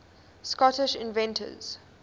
scottish inventors